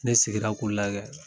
Ne sigira k'u lagɛ.